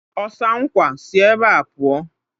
Ọsa nkwa! Si ebea pụọ!